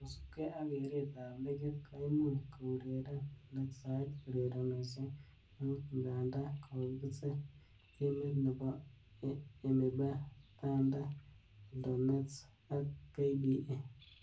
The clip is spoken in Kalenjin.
Kosubge ak keret ab ligit , koimuch koureren Lakeside ureronoshek muut, ngandaa kokisir timit nebo EMYBA, Thunder, Eldonests ak KPA .